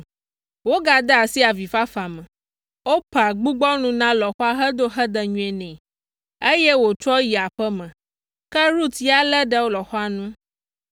Wogade asi avifafa me. Orpa gbugbɔ nu na lɔ̃xoa hedo hedenyui nɛ, eye wòtrɔ yi aƒe me, ke Rut ya lé ɖe lɔ̃xoa ŋu.